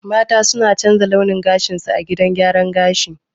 Mata suna canza launin gashinsu a gidan gyaran gashi.